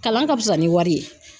Kalan ka fisa ni wari ye.